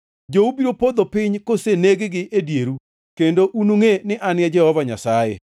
Jou biro podho piny koseneg-gi e dieru, kendo unungʼe ni An e Jehova Nyasaye.